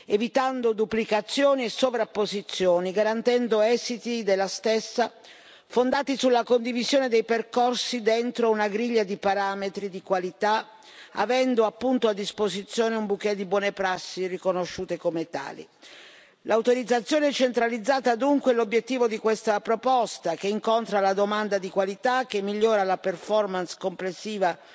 evitando duplicazioni e sovrapposizioni, garantendo esiti della stessa fondati sulla condivisione dei percorsi dentro una griglia di parametri di qualità, avendo appunto a disposizione un bouquet di buone prassi riconosciute come tali. L'autorizzazione centralizzata, dunque, è l'obiettivo di questa proposta che incontra la domanda di qualità, che migliora la performance complessiva